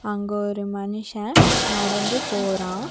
அங்க ஒரு மனுஷன் நடந்து போறான்.